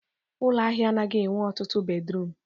Ụlọ ahịa anaghị enwe ọtụtụ bedruum